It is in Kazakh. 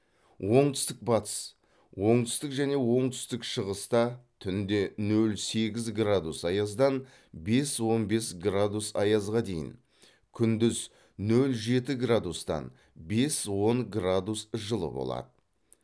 оңтүстік батыс оңтүстік және оңтүстік шығыста түнде нөл сегіз градус аяздан бес он бес градус аязға дейін күндіз нөл жеті градустан бес он градус жылы болады